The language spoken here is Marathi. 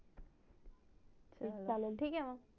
ठीक आहे मग